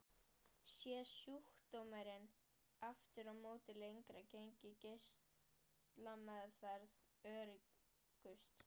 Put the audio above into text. Sé sjúkdómurinn aftur á móti lengra genginn er geislameðferð öruggust.